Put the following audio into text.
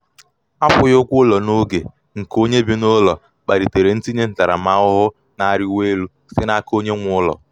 akwughi ụgwọ ụlọ n'oge nke onye bi n'ụlọ kpalitere ntinye ntaramahụhụ na-arịwanye elu site n'aka onye nwe onye nwe ụlọ.